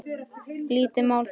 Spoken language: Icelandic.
Lítið mál það.